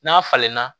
N'a falenna